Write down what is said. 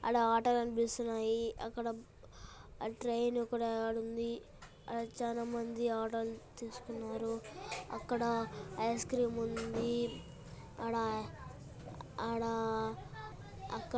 ఆడ ఆటో కనిపిస్తున్నాయి అక్కడ ట్రైన్ కూడా ఆడ ఉంది ఆడ చానా మంది ఆటోలు తీసుకున్నారు అక్కడ ఐస్క్రీమ్ ఉంది ఆడ ఆడ అక్కడ--